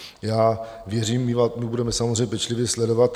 Já věřím, my budeme samozřejmě pečlivě sledovat.